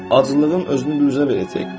Acılığın özünü üzə verəcək.